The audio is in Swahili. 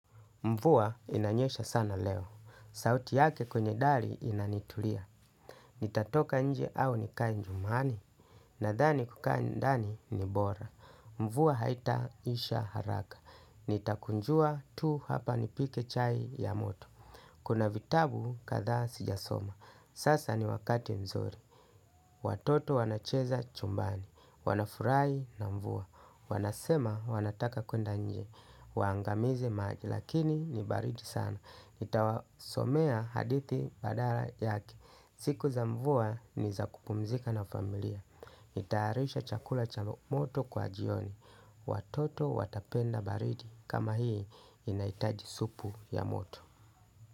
Mvua inanyesha sana leo. Sauti yake kwenye dhali inanitulia. Nitatoka nje au nikainjumani. Nadhani kukaindani ni bora. Mvuwa haita isha haraka. Nitakunjua tu hapa nipike chai ya moto. Kuna vitabu katha sijasoma. Sasa ni wakati mzuri. Watoto wanacheza chumbani. Wanafurai na mvuwa. Wanasema wanataka kwenda nje. Waangamize maji. Lakini ni baridi sana nitawasomea hadithi badala yake. Siku za mvua ni za kupumzika na familia nitayarishe chakula cha moto kwa jioni. Watoto watapenda baridi. Kama hii inaitaji supu ya moto.